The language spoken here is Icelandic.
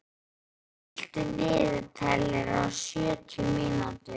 Kía, stilltu niðurteljara á sjötíu mínútur.